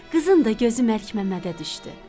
Qızın da gözü Məlikməmmədə düşdü.